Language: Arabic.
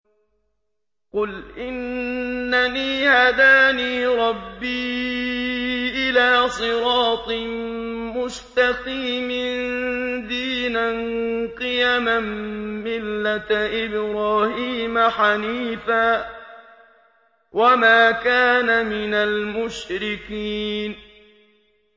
قُلْ إِنَّنِي هَدَانِي رَبِّي إِلَىٰ صِرَاطٍ مُّسْتَقِيمٍ دِينًا قِيَمًا مِّلَّةَ إِبْرَاهِيمَ حَنِيفًا ۚ وَمَا كَانَ مِنَ الْمُشْرِكِينَ